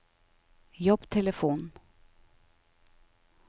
jobbtelefon